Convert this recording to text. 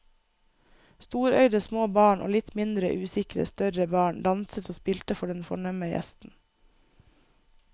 Storøyde små barn og litt mindre usikre større barn danset og spilte for den fornemme gjesten.